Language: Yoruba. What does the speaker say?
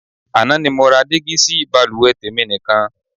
Àná ni mo ra dígí sí baluwe tèmi nìkan.